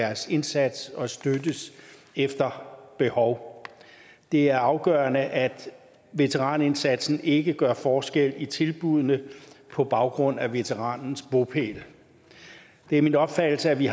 deres indsats og støttes efter behov det er afgørende at veteranindsatsen ikke gør forskel i tilbuddene på baggrund af veteranens bopæl det er min opfattelse at vi